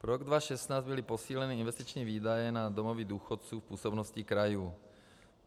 Pro rok 2016 byly posíleny investiční výdaje na domovy důchodců v působnosti krajů.